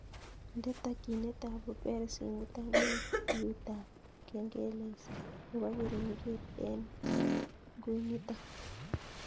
Nde takyinet ab uber simutan en biutab kengeles nebo keringet en ngunitan